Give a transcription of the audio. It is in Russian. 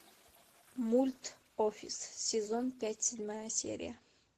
мульт офис сезон пять седьмая серия